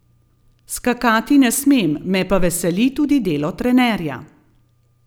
Skakati ne smem, me pa veseli tudi delo trenerja.